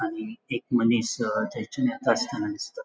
आणि एक मनिस अ थयसून येतास्ताना दिसता.